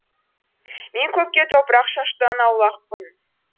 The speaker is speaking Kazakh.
мен көпке топырақ шашудан аулақпын